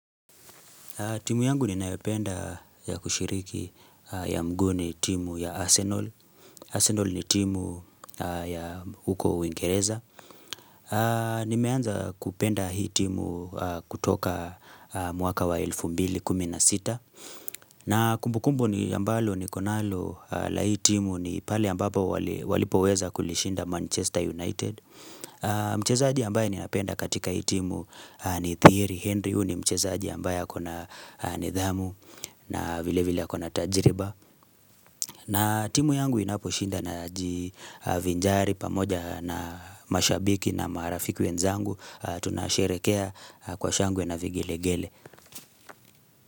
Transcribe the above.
Timu yangu ninayopenda ya kushiriki ya mguuni timu ya Arsenal. Arsenal ni timu ya uko uingereza. Nimeanza kupenda hii timu kutoka mwaka wa 2016. Na kumbukumbu ni ambalo nikonalo la hii timu ni pale ambapo walipo weza kulishinda Manchester United. Mchezaji ambaye ni ninapenda katika hii timu ni Thierry Henry. Huyu nimchezaaji ambaye akona nidhamu na vile vile akona tajiriba na timu yangu inapo shinda n jivinjari pamoja na mashabiki na marafiku wenzangu Tunasherehekea kwa shangwe na vigelegele.